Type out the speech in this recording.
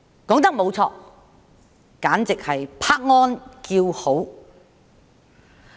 說得沒錯，簡直值得拍案叫好。